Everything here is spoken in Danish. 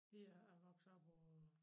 Vi er vokset op på